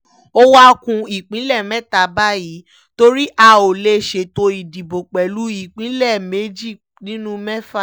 ó wáá ku ìpínlẹ̀ mẹ́ta báyìí torí a ò lè ṣètò ìdìbò pẹ̀lú ìpínlẹ̀ méjì nínú mẹ́fà